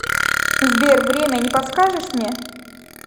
сбер время не подскажешь мне